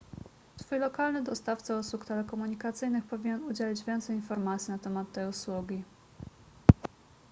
twój lokalny dostawca usług telekomunikacyjnych powinien udzielić więcej informacji na temat tej usługi